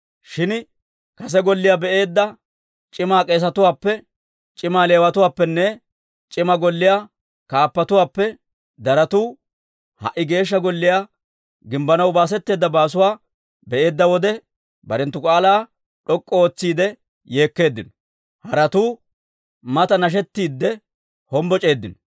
Shin kase Golliyaa be"eedda c'ima k'eesetuwaappe, c'ima Leewatuwaappenne c'ima golliyaa kaappatuwaappe daratu ha"i Geeshsha Golliyaa gimbbanaw baasetteedda baasuwaa be'eedda wode, barenttu k'aalaa d'ok'k'u ootsiide yeekkeeddino; haratuu mata nashettiidde hombboc'eeddino.